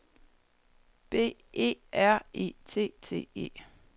B E R E T T E